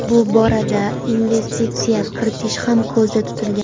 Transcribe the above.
Bu borada investitsiya kiritish ham ko‘zda tutilgan.